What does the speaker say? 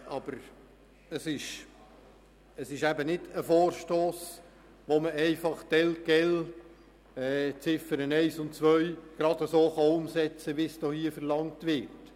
Aber es ist nicht ein Vorstoss, bei dem man die Ziffern 1 und 2 einfach so umsetzen kann, wie es hier verlangt wird.